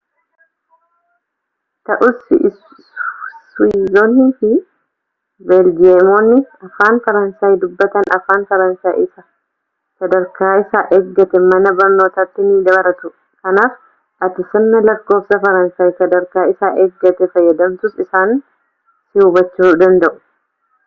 ta'us swiizonnii fi beeljiyeemonni afaan faransaay dubbatan afaan faransaay isa sadarkaa isaa eeggate mana barnootaatti ni baratu kanaaf ati sirna lakkofsaa faransaay sadarkaa isaa eeggate fayyadamtus isaan si hubachuu danda'u